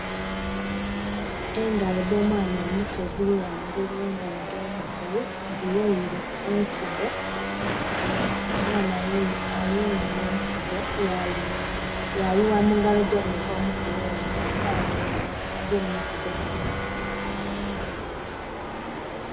Engalo edh'omwana omuto edhiri ghangulu oghe ngalo edho mukulu dhiyoire ensigo, omwana ayoire ensigo yayugha mu ngalo edh'omuntu omukulu ono saawa dhino agemye ensigo dhino.